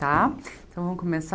Tá, então vamos